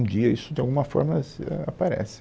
Um dia isso de alguma forma aparece.